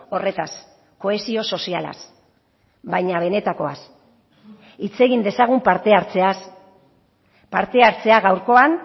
horretaz kohesio sozialaz baina benetakoaz hitz egin dezagun parte hartzeaz parte hartzea gaurkoan